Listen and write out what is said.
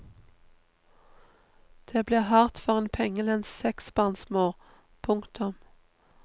Det blir hardt for en pengelens seksbarnsmor. punktum